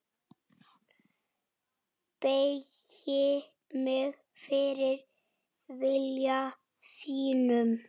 Beygi mig fyrir vilja þínum.